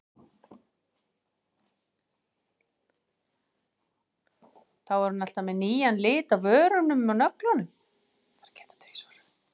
Þá er hún alltaf með nýjan lit á vörum og nöglum.